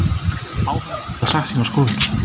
Áhorfendur geta sagt sína skoðun